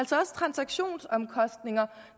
transaktionsomkostninger